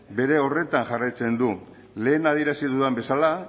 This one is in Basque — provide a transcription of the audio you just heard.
bere horretan jarraitzen du lehen adierazi dudan bezala